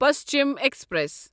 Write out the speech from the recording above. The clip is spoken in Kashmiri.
پشچم ایکسپریس